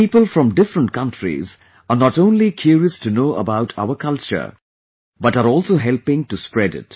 People from different countries are not only curious to know about our culture but are also helping to spread it